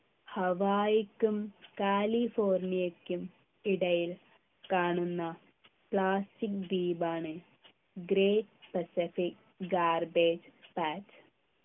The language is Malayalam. ഹവായിക്കും കാലിഫോര്‍ണിയക്കും ഇടയിൽ കാണുന്ന plastic ദ്വീപാണ് Great Pacific Garbage Patch